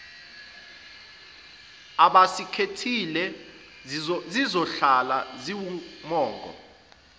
abasikhethile zizohlala ziwumongo